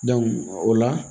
o la